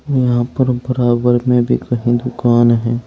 यहां पर बराबर में भी कही दुकान है।